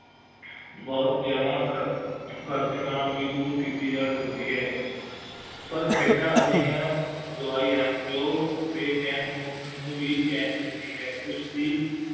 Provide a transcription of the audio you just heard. ਬਹੁਤ ਜ਼ਯਾਦਾ ਖਰਚੇ ਨਾਲ ਹੀ ਦੂਰ ਕੀਤੀ ਜਾ ਸਕਦੀ ਹੈ ਪਰ ਖੇਡਾਂ ਅਜਿਹੀਆਂ ਦਵਾਈ ਹਨ ਜੋ ਕਿ ਬੇਚੈਨ ਮਨੁੱਖ ਨੂੰ ਵੀ ਚੇਨ ਦਿੰਦੀ ਹੈ ਉਸ ਦੀ